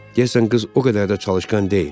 Deyəsən qız o qədər də çalışqan deyil.